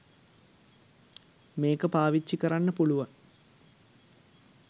මේක පාවිච්චි කරන්න පුලුවන්.